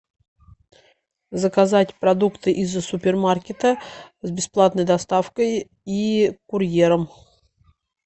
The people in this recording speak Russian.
заказать продукты из супермаркета с бесплатной доставкой и курьером